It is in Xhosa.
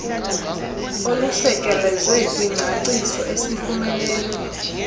olusekelezwe kwingcaciso esiyifumeneyo